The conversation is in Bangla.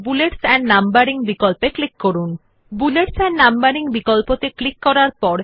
প্রথম এই মেনু বারে ফরম্যাট বিকল্প উপর ক্লিক করুন এবং তারপর বুলেটস এন্ড নাম্বারিং ক্লিক করে দ্বারা ব্যবহার করা হয়